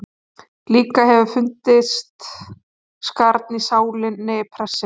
Líka hefur fundist skarn í sálinni prestsins.